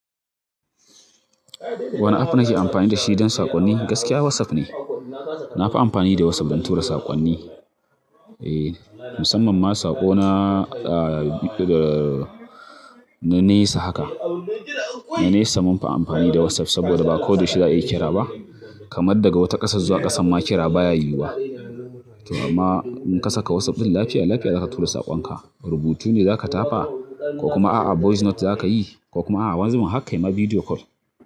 Wane app nake amfani da shi don saƙonni? Gaskiya WhatsApp ne. Na fi amfani da WhatsApp don tura saƙonni. E, musamman ma saƙona, na nesa haka. Na nesa munfi amfani da WhatsApp saboda ba koda yaush za'a iya kira ba. Kamar daga wata ƙasa zuwa ƙasan ma kira baya yiwuwa. To amma in kasaka WhatsApp ɗin lafiya lafiya zaka tura saƙonka. Rubutu ne zaka tafa ko kuma a'a voice note zakayi ko kuma a'a wani zubin harkai ma video call.